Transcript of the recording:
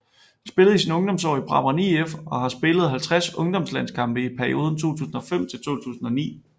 Han spillede i sine ungdomsår i Brabrand IF og har spillet 50 ungdomslandskampe i perioden 2005 til 2009